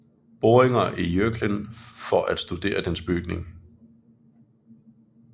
Boringer i Jøklen for at studere dens bygning